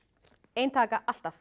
ein taka alltaf